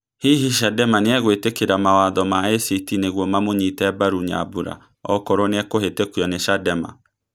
Hihi chadema nĩegwĩtikĩra mawatho ma ACT nĩguo mamũnyĩte mbaru Nyambura okorwo nĩekũhĩtũkio nĩ Chadema